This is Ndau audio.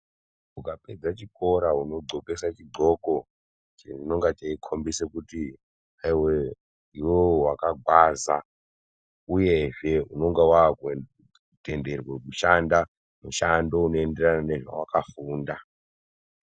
Ukapedze chikora unodxokeswe chidxoko chinonge cheikombidze kuti iwewe wakagwaza uyezve unonga wakutenderwa kushanda mushando unoenderana nezvawakafunda.